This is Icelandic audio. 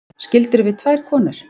Skildirðu við tvær konur?